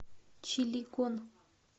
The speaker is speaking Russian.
чилегон